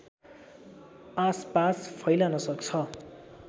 आसपास फैलन सक्छ